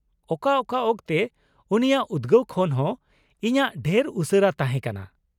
ᱚᱠᱟ ᱚᱠᱟ ᱚᱠᱛᱮ ᱩᱱᱤᱭᱟᱜ ᱩᱫᱜᱟᱹᱣ ᱠᱷᱚᱱ ᱦᱚᱸ ᱤᱧᱟᱹᱜ ᱰᱷᱮᱨ ᱩᱥᱟᱹᱨᱟ ᱛᱟᱦᱮᱸ ᱠᱟᱱᱟ ᱾